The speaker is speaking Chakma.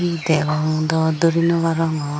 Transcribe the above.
hi degong dw duri nw arongor.